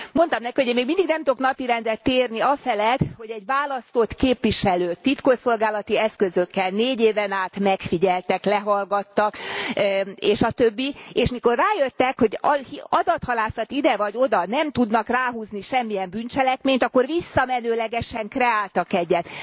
Mondtam neki, hogy én még mindig nem tudok napirendre térni afelett, hogy egy választott képviselőt titkosszolgálati eszközökkel négy éven át megfigyeltek, lehallgattak és a többi, és amikor rájöttek, hogy adathalászat ide vagy oda nem tudnak ráhúzni semmilyen bűncselekményt, akkor visszamenőlegesen kreáltak egyet.